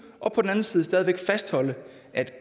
og på den anden side stadig væk at fastholde at